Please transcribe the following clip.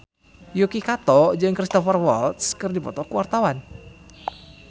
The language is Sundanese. Yuki Kato jeung Cristhoper Waltz keur dipoto ku wartawan